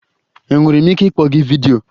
Enwere m ike ịkpọ gị vidiyo?